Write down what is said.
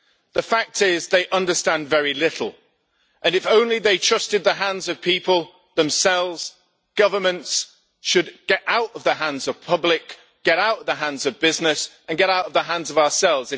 The fact is, they understand very little, and if only they trusted the hands of people themselves, governments should get out of the hands of public, get out of the hands of business and get out of the hands of ourselves.